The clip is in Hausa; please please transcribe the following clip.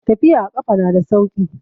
Tafiya a kafa na da sauki.